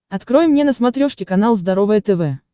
открой мне на смотрешке канал здоровое тв